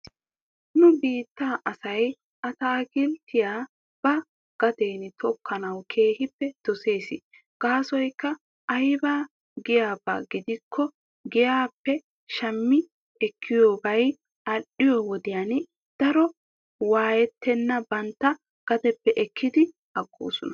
Nu biittaa asay ataakilttiya ba gaden tokkanawu keehippe dosses. Gaasoykka aybee giyaaba gidikko giyaappe shammi ekkiyoobay al''iyoo wodiyan daro waayettenan bantta gadeppe ekki agoosona.